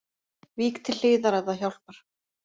Vík til hliðar ef það hjálpar